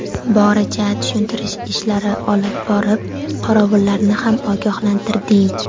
Boricha tushuntirish ishlari olib borib, qorovullarni ogohlantirdik.